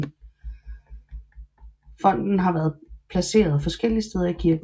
Fonten har været placeret forskellige steder i kirken